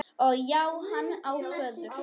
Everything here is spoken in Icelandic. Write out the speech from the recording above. Og já, hann á föður.